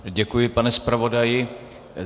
Děkuji, pane zpravodaji.